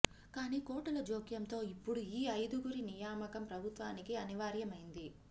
కానీ కోర్టుల జోక్యంతో ఇప్పుడు ఈ ఐదుగురి నియామకం ప్రభుత్వానికి అనివార్యమైంది